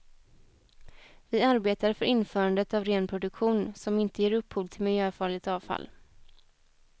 Vi arbetar för införandet av ren produktion, som inte ger upphov till miljöfarligt avfall.